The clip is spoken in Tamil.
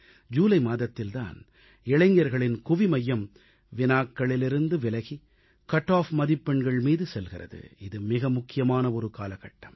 ஜூலை மாதத்தில் தான் இளைஞர்களின் குவிமையம் வினாக்களிலிருந்து விலகி கட் ஆப் கட்டாஃப் மதிப்பெண்கள் மீது செல்கிறது இது மிக முக்கியமான ஒரு காலகட்டம்